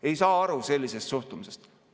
Ei saa aru sellisest suhtumisest.